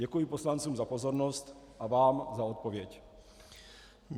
Děkuji poslancům za pozornost a vám za odpověď.